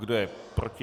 Kdo je proti?